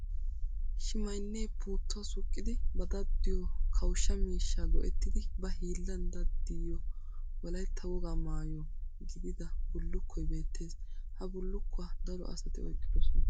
Shimmaynne puutuwaa suuqqiddi ba daddiyo kawusha miishsha go'ettiddi ba hiillan daddiyo wolaytta wogaa maayo gididda bulukkoy beetes. Ha bulukkuwa daro asatti oyqqidosonna.